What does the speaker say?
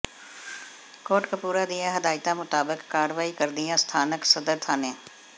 ਕੋਟਕਪੂਰਾ ਦੀਆਂ ਹਦਾਇਤਾਂ ਮੁਤਾਬਕ ਕਾਰਵਾਈ ਕਰਦਿਆਂ ਸਥਾਨਕ ਸਦਰ ਥਾਣੇ